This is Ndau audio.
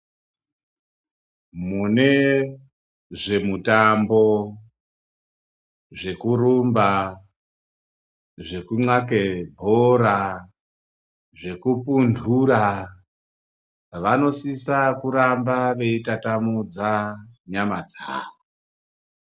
Mune zve mutambo zve kurumba zveku ndxake bhora zveku pundura vanosisa kuramba veyi tatamudza nyama dzavo.